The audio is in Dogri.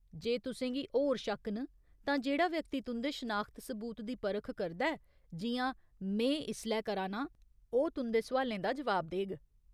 जे तुसें गी होर शक्क न, तां जेह्ड़ा व्यक्ति तुं'दे शनाखत सबूत दी परख करदा ऐ, जि'यां में इसलै करा नां, ओह् तुं'दे सोआलें दा जवाब देग।